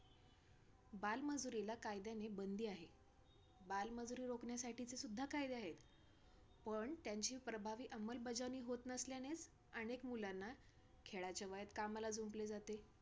बालमजुरीला कायद्याने बंदी आहे. बालमजुरी रोखण्यासाठीचे सुद्धा कायदे आहेत, पण त्यांची प्रभावी अंमलबजावणी होत नसल्यानेच, अनेक मुलांना खेळायच्या वयात कामाला जुंपले जाते.